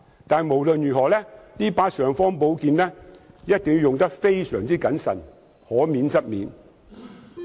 但無論如何，這把"尚方寶劍"一定要用得非常謹慎，而且可免則免。